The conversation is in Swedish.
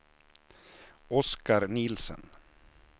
Oskar Nielsen